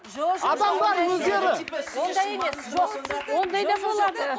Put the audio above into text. адамдар өздері ондай емес жоқ ондай да болады